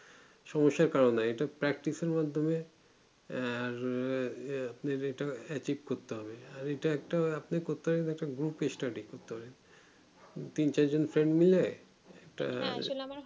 সমস্যার কারণ নাই ইটা practise এর মাদ্ধমে আর আপনি ইটা আথিক করতে হবে আর ইটা একটি আপনি করতে হবে একটা group study করতে হবে তিন চারজন friend মিলে একটা